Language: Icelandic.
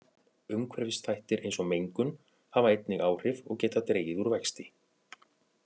Umhverfisþættir eins og mengun hafa einnig áhrif og geta dregið úr vexti.